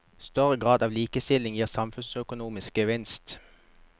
Større grad av likestilling gir samfunnsøkonomisk gevinst.